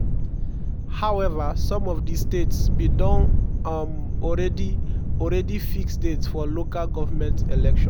however some of di states bin don um already already fix dates for lg elections.